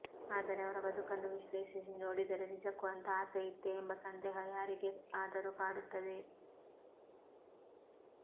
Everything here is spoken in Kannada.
ಆದರೆ ಅವರ ಬದುಕನ್ನು ವಿಶ್ಲೇಷಿಸಿ ನೋಡಿದರೆ ನಿಜಕ್ಕೂ ಅಂಥ ಆಸೆಯಿತ್ತೇ ಎಂಬ ಸಂದೇಹ ಯಾರಿಗೇ ಆದರೂ ಕಾಡುತ್ತದೆ